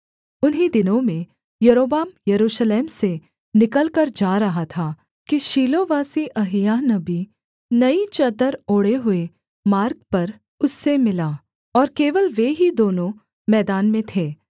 उन्हीं दिनों में यारोबाम यरूशलेम से निकलकर जा रहा था कि शीलोवासी अहिय्याह नबी नई चद्दर ओढ़े हुए मार्ग पर उससे मिला और केवल वे ही दोनों मैदान में थे